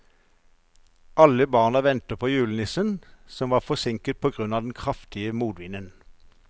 Alle barna ventet på julenissen, som var forsinket på grunn av den kraftige motvinden.